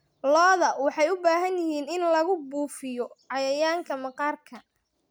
Lo'da waxay u baahan yihiin in lagu buufiyo cayayaanka maqaarka.